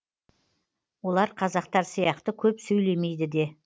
олар қазақтар сияқты көп сөйлемейді де